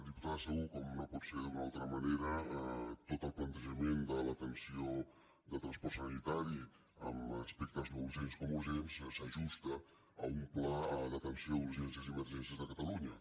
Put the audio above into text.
diputada segú com no pot ser d’una altra manera tot el plantejament de l’atenció de transport sanitari amb aspectes no urgents com urgents s’ajusta a un pla d’atenció d’urgències i emergències de catalunya